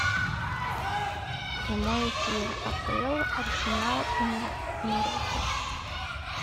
прямой эфир апл арсенал и норвича